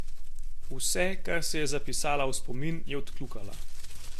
Vse, kar si je zapisala v spomin, je odkljukala.